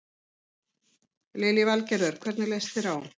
Lillý Valgerður: Hvernig leist þér á?